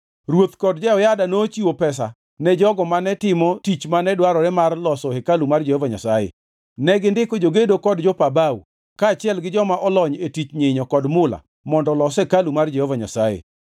Ruoth kod Jehoyada nochiwo pesa ne jogo mane timo tich mane dwarore mar loso hekalu mar Jehova Nyasaye. Negindiko jogedo kod jopa bao kaachiel gi joma olony e tich nyinyo kod mula mondo olos hekalu mar Jehova Nyasaye.